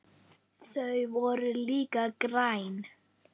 Þau voru líka græn.